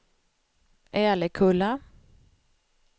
Älekulla